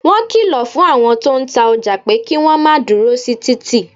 Wọn kìlọ̀ fún àwọn tó ń ta ọjà pé kí wọ́n máa dúró sí títì